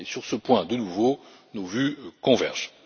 Sur ce point, de nouveau, nos vues convergent.